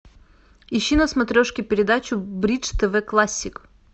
ищи на смотрешке передачу бридж тв классик